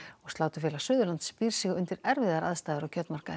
sláturfélag Suðurlands býr sig undir erfiðar aðstæður á kjötmarkaði